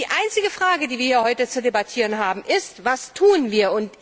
Die einzige Frage, die wir heute zu debattieren haben, ist Was tun wir?